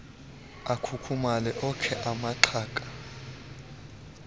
akhukhumale okhe amaxhaga